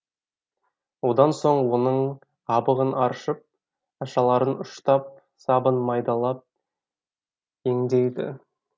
одан соң оның қабығын аршып ашаларын ұштап сабын майдалап еңдейді